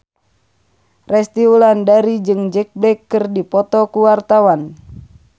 Resty Wulandari jeung Jack Black keur dipoto ku wartawan